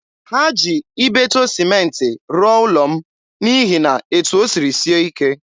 Ha ji Ibeto sịmentị rụọ ụlọ m n'ihi na etu o siri sie ike.